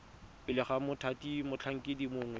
pele ga mothati motlhankedi mongwe